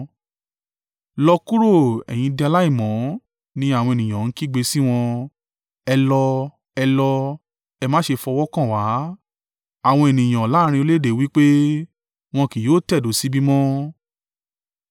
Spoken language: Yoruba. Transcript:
“Lọ kúrò! Ẹ̀yin di aláìmọ́!” ni àwọn ènìyàn ń kígbe sí wọn. “Ẹ lọ! Ẹ lọ! Ẹ má ṣe fọwọ́ kàn wá!” Àwọn ènìyàn láàrín orílẹ̀-èdè wí pé, “Wọn kì yóò tẹ̀dó síbí mọ́.”